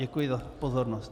Děkuji za pozornost.